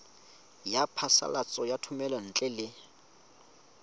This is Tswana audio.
ya phasalatso ya thomelontle le